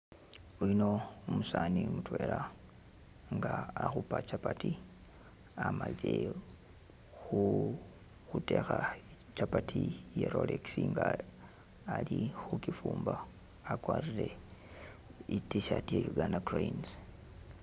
Yuno umusani mutwela nga akhupa chapati amalile khu khutekha chapati iya rolex nga alikhu kyifumba akwarire i t'shirt iya Uganda cranes